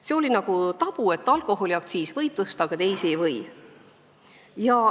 See oli nii, et alkoholiaktsiisi võis tõsta, aga teisi ei võinud.